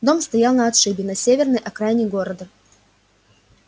дом стоял на отшибе на северной окраине города